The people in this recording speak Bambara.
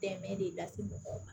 Dɛmɛ de lase mɔgɔw ma